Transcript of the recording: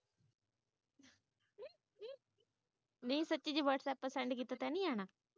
ਨਹੀਂ ਸੱਚੀ ਜੇ whatsapp ਪਰ send ਤਾਂ ਨੀ ਆਣਾ